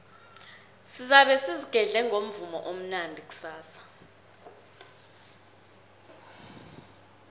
sizabe sizigedle ngomvumo omnandi kusasa